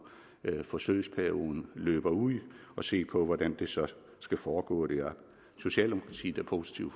forsøgsperioden løber ud og se på hvordan det så skal foregå der socialdemokratiet er positive